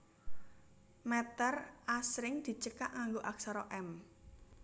Mèter asring dicekak nganggo aksara m